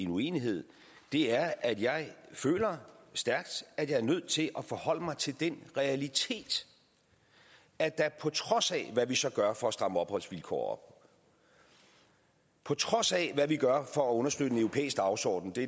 uenighed er at jeg føler stærkt at jeg er nødt til at forholde mig til den realitet at der på trods af hvad vi så gør for at stramme opholdsvilkårene på trods af hvad vi gør for at understøtte en europæisk dagsorden det